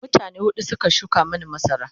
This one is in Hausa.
mutane huɗu Suka shuka Mani masara